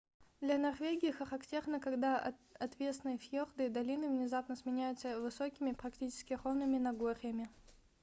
для норвегии характерно когда отвесные фьорды и долины внезапно сменяются высокими практически ровными нагорьями